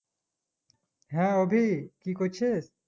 হ্যাঁ অভি কি করছিস?